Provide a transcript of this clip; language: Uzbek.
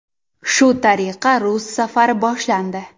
Shu tariqa rus safari boshlandi.